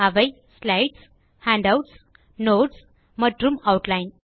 அவை slides handouts notes மற்றும் outline